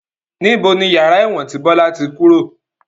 Níbo ni yàrá ẹ̀wọ̀n tí Bọlá tí kúrò?